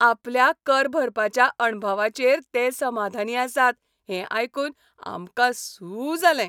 आपल्या कर भरपाच्या अणभवाचेर ते समाधानी आसात हें आयकून आमकां सू जालें.